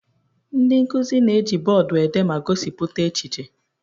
Ndị nkuzi na-eji bọọdụ ede ma gosipụta echiche.